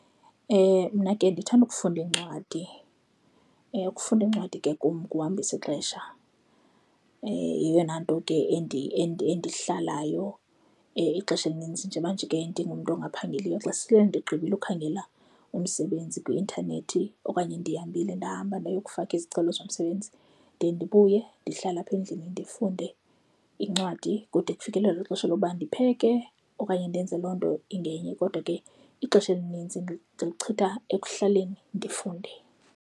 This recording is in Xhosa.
Mna ke ndithanda ukufunda iincwadi. Ukufunda iincwadi ke kum ukuhambisa ixesha. Yeyona nto ke endihlalayo ixesha elinintsi njengoba nje ke ndingumntu ongaphangeliyo. Xa sele ndigqibile ukhangela umsebenzi kwi-intanethi okanye ndihambile ndahamba ndaya ukufaka izicelo zomsebenzi, ndiye ndibuye ndihlale apha endlini ndifunde iincwadi kude kufikelele kwixesha lokuba ndipheke okanye ndenze loo nto ingenye. Kodwa ke ixesha elinintsi ndilichitha ekuhlaleni ndifunde.